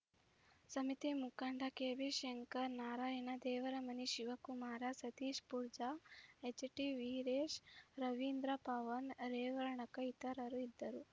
ಸಮಿತಿ ಮುಖಂಡ ಕೆಬಿಶಂಕರ ನಾರಾಯಣ ದೇವರಮನಿ ಶಿವಕುಮಾರ ಸತೀಶ ಪೂಜಾರ್‌ ಎಚ್‌ಟಿವೀರೇಶ ರವೀಂದ್ರ ಪವನ್‌ ರೇವಣಕರ್‌ ಇತರರು ಇದ್ದರು